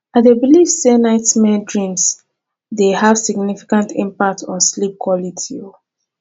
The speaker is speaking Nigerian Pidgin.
i dey believe say nighttime dreams dey have significant impact on sleep quality